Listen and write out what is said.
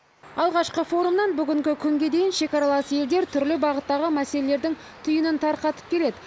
алғашқы форумнан бүгінгі күнге дейін шекаралас елдер түрлі бағыттағы мәселелердің түйінін тарқатып келеді